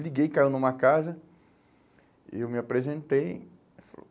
Liguei, caiu numa casa, eu me apresentei, ele falou,